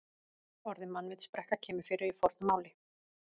Orðið mannvitsbrekka kemur fyrir í fornu máli.